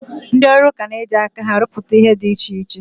Ndị ọrụaka na-eji aka ha rụpụta ihe dị iche iche